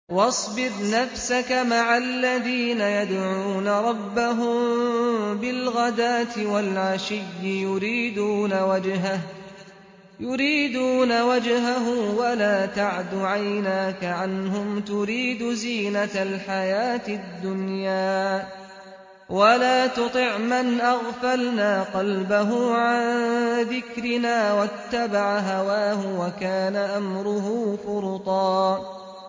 وَاصْبِرْ نَفْسَكَ مَعَ الَّذِينَ يَدْعُونَ رَبَّهُم بِالْغَدَاةِ وَالْعَشِيِّ يُرِيدُونَ وَجْهَهُ ۖ وَلَا تَعْدُ عَيْنَاكَ عَنْهُمْ تُرِيدُ زِينَةَ الْحَيَاةِ الدُّنْيَا ۖ وَلَا تُطِعْ مَنْ أَغْفَلْنَا قَلْبَهُ عَن ذِكْرِنَا وَاتَّبَعَ هَوَاهُ وَكَانَ أَمْرُهُ فُرُطًا